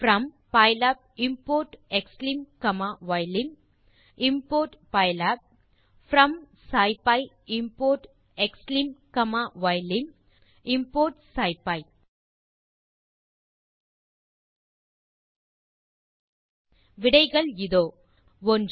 from pylab import xlim comma ylim import pylab from scipy import xlim comma ylim import scipy விடைகள் இதோ 1